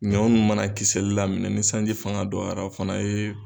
Ɲɔ ninnu mana kisɛli daminɛ ni sanji fanga dɔgɔyara o fana ye